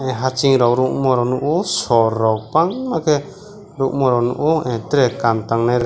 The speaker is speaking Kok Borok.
hasing rok rungma rog nogo o sir rog bangmaa ke rogmanrok nogo ah tere kam tangnai.